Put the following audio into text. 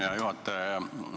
Hea juhataja!